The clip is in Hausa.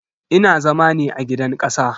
Ina zama ne a gidan kasa.